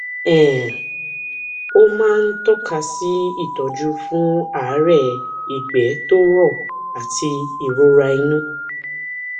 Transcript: um ó máa ń tọka sí ìtọjú fún àárẹ ìgbé tó rọ àti ìrora inú